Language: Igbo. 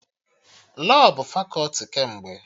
Lọọ bụ fakọti kemgbe